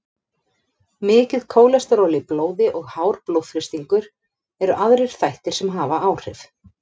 Mikið kólesteról í blóði og hár blóðþrýstingur eru aðrir þættir sem hafa áhrif.